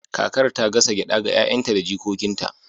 kakar ta gasa gyada ga 'ya'yanta da jikokinta